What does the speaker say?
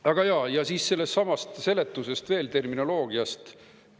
Aga jaa, siis sellestsamast seletusest veel, terminoloogiast.